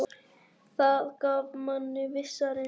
Það gaf manni vissa reisn.